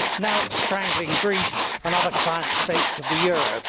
Now it is strangling Greece and other client states of the euro.